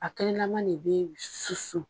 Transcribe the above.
A kɛnɛn lama le bɛ susu.